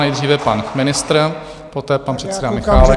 Nejdříve pan ministr, poté pan předseda Michálek.